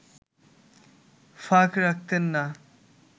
ফাঁক রাখতেন না